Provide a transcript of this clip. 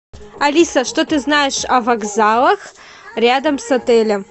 алиса что ты знаешь о вокзалах рядом с отелем